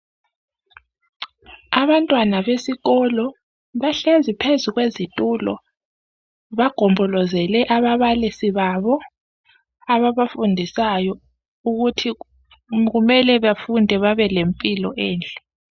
Abantwana besikolo bahlezi phezu kwezitulo bagombolozele ababalisi babo ababafundisayo ukuthi kumele bafunde babe lempilo enhle.